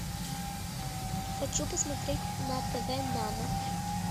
хочу посмотреть на тв нано